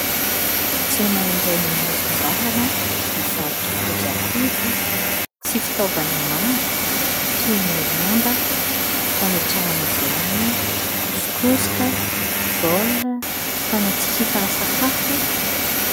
Tsena iray eny amoron-dalana, mivarotra kojakoja sy fitaovana maro toy ny lamba, fametrahana vilany, kosokosoka, baolina, fanatsihifana sakafo.